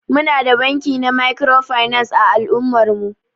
Muna da banki na microfinance a al'ummar mu.